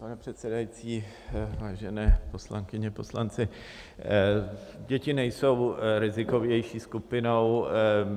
Pane předsedající, vážené poslankyně, poslanci, děti nejsou rizikovější skupinou.